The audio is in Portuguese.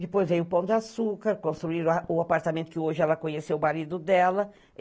Depois veio o Pão de Açúcar, construíram o apartamento que hoje ela conheceu o marido dela.